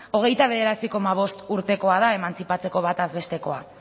hogeita bederatzi koma bost urtekoa da emantzipatzeko bataz bestekoa